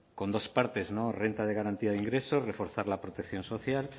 con dos partes no renta de garantía de ingresos reforzar la protección social